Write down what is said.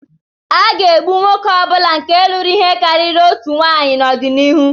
A ga-egbu nwoke ọ bụla nke lụrụ ihe karịrị otu nwunye n'ọdịnihu.